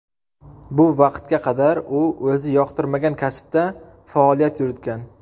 Bu vaqtga qadar u o‘zi yoqtirmagan kasbda faoliyat yuritgan”.